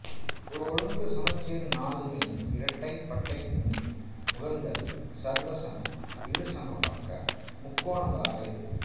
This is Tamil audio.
ஒரு ஒழுங்கு சமச்சீர் நாள்மீன் இரட்டைப் பட்டைக்கூம்பின் முகங்கள் சர்வசம இருசமபக்க முக்கோணங்களாக இருக்கும்